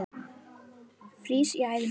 frýs í æðum blóð